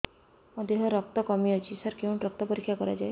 ମୋ ଦିହରେ ରକ୍ତ କମି ଅଛି ସାର କେଉଁଠି ରକ୍ତ ପରୀକ୍ଷା କରାଯାଏ